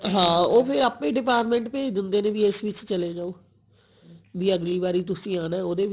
ਹਾਂ ਫੇਰ ਉਹ ਆਪੇ department ਭੇਜ ਦਿੰਦੇ ਨੇ ਵੀ ਇਸ ਵਿੱਚ ਚਲੇ ਜਾਓ ਵੀ ਅਗਲੀ ਵਾਰ ਤੁਸੀਂ ਆਉਣਾ ਉਹਦੇ ਵਿੱਚ